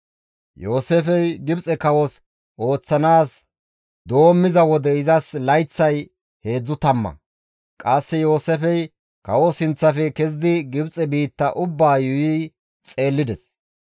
Yooseefey Gibxe kawos ooththanaas doommiza wode izas layththay heedzdzu tamma. Qasse Yooseefey kawo sinththafe kezidi Gibxe biitta ubbaa yuuyi xeellides.